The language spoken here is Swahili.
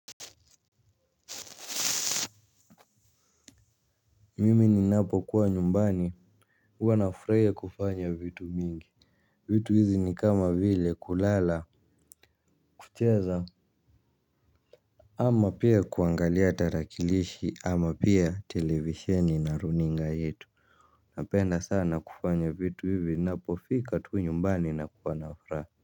Mimi ninapo kuwa nyumbani huwa nafurahia kufanya vitu mingi. Vitu hizi ni kama vile kulala. Kucheza ama pia kuangalia tarakilishi ama pia televisheni na runinga yetu. Napenda sana kufanya vitu hivi ninapofika tu nyumbani na kuwa na furaha.